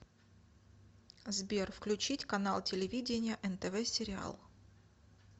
сбер включить канал телевидения нтв сериал